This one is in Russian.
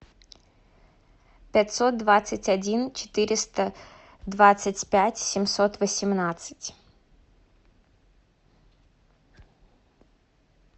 пятьсот двадцать один четыреста двадцать пять семьсот восемнадцать